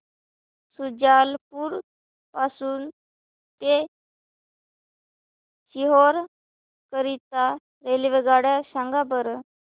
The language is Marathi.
शुजालपुर पासून ते सीहोर करीता रेल्वेगाड्या सांगा बरं